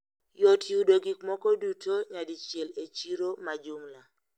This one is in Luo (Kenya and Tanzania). Yot yudo gikmoko duto nadichiel e chiro majumla.